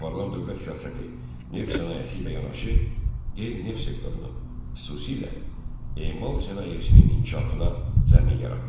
Aparılan dövlət siyasəti neft sənayesi ilə yanaşı, qeyri-neft sektorunun, xüsusilə emal sənayesinin inkişafına zəmin yaratmışdır.